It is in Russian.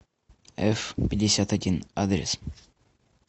эфпятьдесятодин адрес